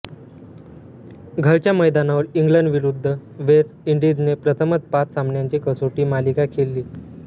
घरच्या मैदानावर इंग्लंडविरुद्ध वेस्ट इंडीजने प्रथमच पाच सामन्यांची कसोटी मालिका खेळली